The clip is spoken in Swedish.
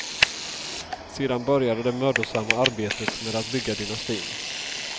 Sedan började det mödosamma arbetet med att bygga dynastin.